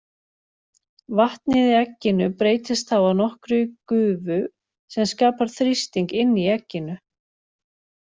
Vatnið í egginu breytist þá að nokkru í gufu sem skapar þrýsting inni í egginu.